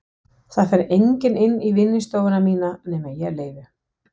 Það fer enginn inn í vinnustofuna mína nema ég leyfi.